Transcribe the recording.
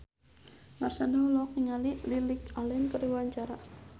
Marshanda olohok ningali Lily Allen keur diwawancara